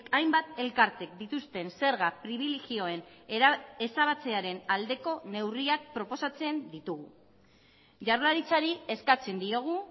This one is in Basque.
hainbat elkartek dituzten zerga pribilegioen ezabatzearen aldeko neurriak proposatzen ditugu jaurlaritzari eskatzen diogu